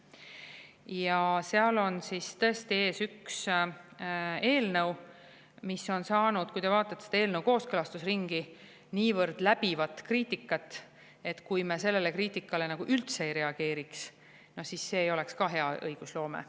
Ja seal on tõesti ees üks eelnõu, mis on saanud, kui te vaatate selle kooskõlastusringi, niivõrd läbivat kriitikat, et kui me sellele kriitikale üldse ei reageeriks, siis see ei oleks hea õigusloome.